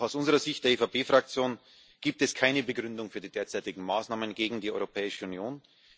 Auch aus der Sicht der EVP Fraktion gibt es keine Begründung für die derzeitigen Maßnahmen gegen die Europäische Union.